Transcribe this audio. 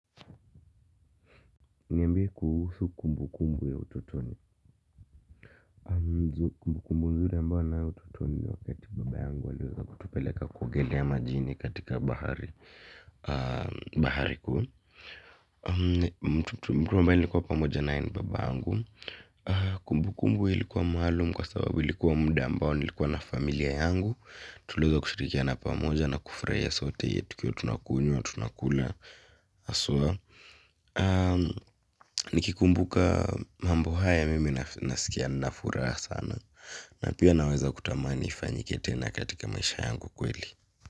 Niambie kuhusu kumbu kumbu ya ututoni. Kumbu kumbu nzuri ambao na ututoni wakati baba yangu aliweza kutupeleka kuogelea majini katika bahari. Bahari kuu mtu ambaye nilikuwa pamoja naye ni baba yangu. Kumbu kumbu ilikuwa maalum kwa sababu ilikuwa mda ambao nilikuwa na familia yangu tuliweza kushirikiana pamoja na kufraia sote tukiwa tunakunywa tunakula haswa. Nikikumbuka mambo haya mimi nasikia nina furaa sana. Na pia naweza kutamani ifanyike tena katika maisha yangu kweli.